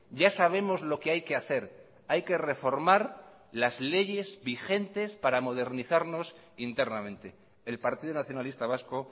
ya sabemos lo que hay que hacer hay que reformar las leyes vigentes para modernizarnos internamente el partido nacionalista vasco